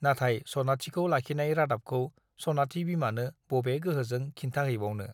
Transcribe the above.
नाथाय सनाथिखौ लाखिनाय रादाबखौ सनाथि बिमानो बबे गोहोजों खिन्थाहैबावनो !